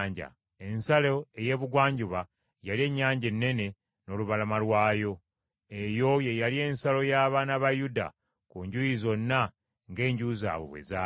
Ensalo ey’ebugwanjuba yali Ennyanja Ennene n’olubalama lwayo. Eyo ye yali ensalo y’abaana ba Yuda ku njuyi zonna ng’enju zaabwe bwe zaali.